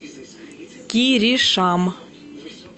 киришам